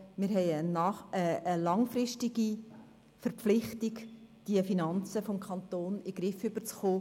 Wir haben eine langfristige Verpflichtung, die Finanzen des Kantons in den Griff zu bekommen.